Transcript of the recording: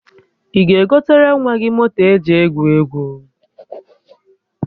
Ị ga-egotere nwa gị moto eji egwu egwu?